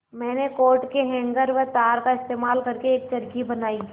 मैंने कोट के हैंगर व तार का इस्तेमाल करके एक चरखी बनाई